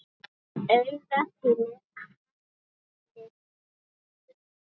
Af auga þínu haglið hrýtur.